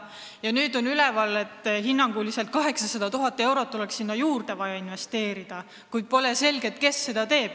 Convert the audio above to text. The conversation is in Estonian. Ja nüüd on kuulda, et hinnanguliselt 800 000 eurot oleks vaja veel investeerida, kuid pole selge, kes seda teeb.